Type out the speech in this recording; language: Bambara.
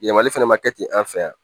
Yɛlɛmali fɛnɛ ma kɛ ten an fɛ yan